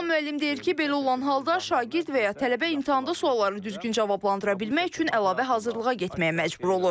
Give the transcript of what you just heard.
Bəhman müəllim deyir ki, belə olan halda şagird və ya tələbə imtahanda suallara düzgün cavablandıra bilmək üçün əlavə hazırlığa getməyə məcbur olur.